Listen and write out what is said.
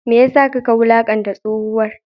Me ya sa kaka wulakanta tsohuwar?